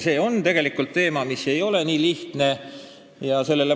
See ei ole tegelikult lihtne teema.